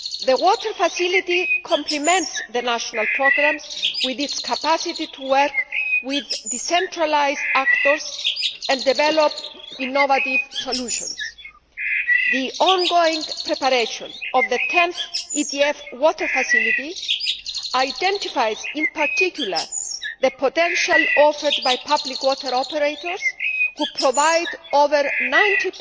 The Water Facility complements the national programmes with its capacity to work with decentralised actors and develop innovative solutions. The ongoing preparation of the 10 th EDF Water Facility identifies in particular the potential offered by public water operators, who provide over 90